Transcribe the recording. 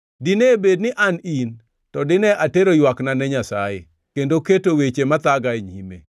“Dine bed ni an in, to dine atero ywakna ne Nyasaye; kendo keto weche mathaga e nyime.